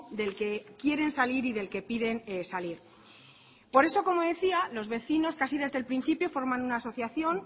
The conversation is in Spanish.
del que quieren salir y del que piden salir por eso como decía los vecinos casi desde el principio forman una asociación